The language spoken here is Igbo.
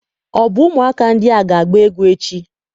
Ọ bụ ụmụaka ndị a ga-agba egwu echi?